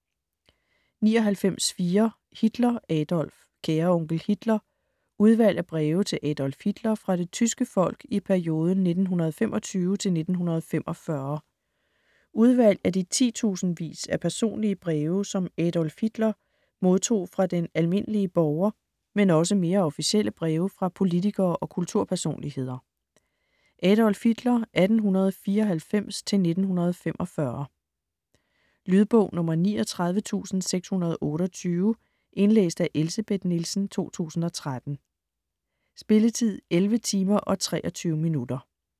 99.4 Hitler, Adolf Kære onkel Hitler: udvalg af breve til Adolf Hitler fra det tyske folk i perioden 1925 til 1945 Udvalg af de tusindvis af personlige breve som Adolf Hitler (1894-1945) modtog fra den almindelige borger, men også mere officielle breve fra politikere og kulturpersonligheder. Lydbog 39628 Indlæst af Elsebeth Nielsen, 2013. Spilletid: 11 timer, 23 minutter.